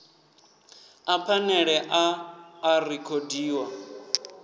a phanele a a rekhodiwa